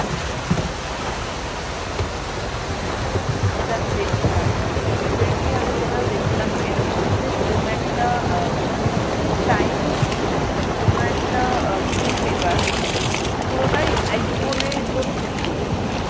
হম এটা আমি দেখছিলাম recently আমি যেটা দেখছিলাম এর মধ্যে কোন একটা মনে হয় mostly chinese কোন একটা film maker পুরোটাই আইফোনে তোর shoot করেছে।